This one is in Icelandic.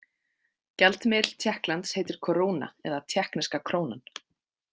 Gjaldmiðill Tékkklands heitir koruna, eða tékkneska krónan.